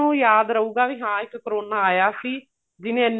ਨੂੰ ਯਾਦ ਰਹੂਗਾ ਵੀ ਇੱਕ ਕਰੋਨਾ ਆਇਆ ਸੀ ਜਿਹਨੇ